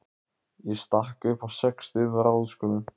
Ég stakk upp á sextugum ráðskonum.